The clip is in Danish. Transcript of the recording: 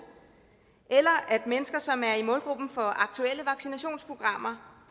eller at mennesker som er i målgruppen for aktuelle vaccinationsprogrammer